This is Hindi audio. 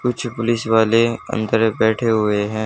कुछ पुलिस वाले अंदर बैठे हुए हैं।